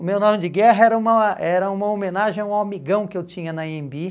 O meu nome de guerra era uma era uma homenagem a um amigão que eu tinha na Anhembi.